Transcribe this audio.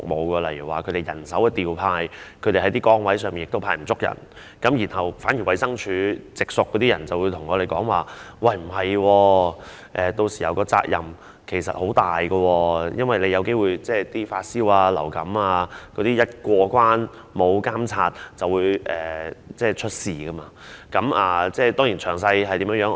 舉例而言，由於人手調配，某些崗位可能沒有足夠人手，因此，衞生署的直屬員工告訴我他們的責任其實很重，因為一些發燒或患有流感的人有機會因為缺乏監察而過關，屆時便會出事。